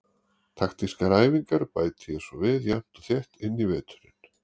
Taktískar æfingar bæti ég svo við jafnt og þétt inn í veturinn.